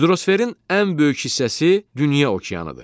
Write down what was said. Hidrosferin ən böyük hissəsi dünya okeanıdır.